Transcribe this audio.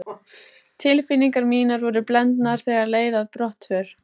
Tilfinningar mínar voru blendnar þegar leið að brottför.